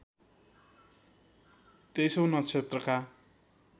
तेईसौँ नक्षत्रका